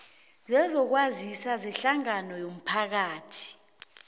sezokwazisa sehlangano yomphakathi